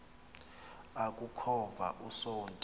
aku khova usonti